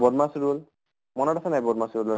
BODMAS rule মনত আছে নে নাই BODMAS rule ৰ